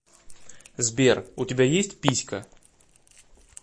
сбер у тебя есть писька